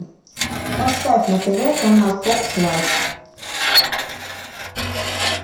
поставь на тв канал фокс лайф